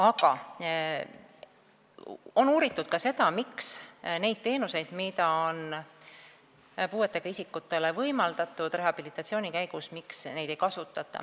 Aga on uuritud ka seda, miks ei kasutata neid teenuseid, mida on puudega isikutele rehabilitatsiooni käigus võimaldatud.